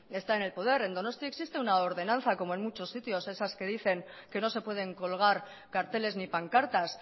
está en el poder en donosti existe una ordenanza como en muchos sitios esas que dicen que no se pueden colgar carteles ni pancartas